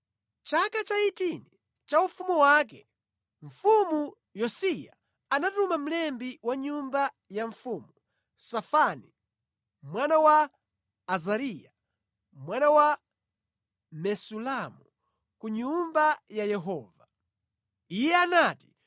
Mʼchaka cha 18 cha ufumu wake, Mfumu Yosiya anatuma mlembi wa nyumba ya mfumu, Safani, mwana wa Azariya, mwana wa Mesulamu, ku Nyumba ya Yehova. Iye anati,